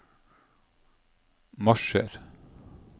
marsjer